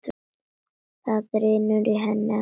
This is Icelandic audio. Það drynur í henni allri.